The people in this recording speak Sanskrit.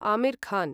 आमिर् खान्